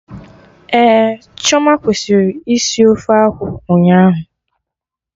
Ehhh, Chioma kwesịrị isi ofe akwụ ụnyaahụ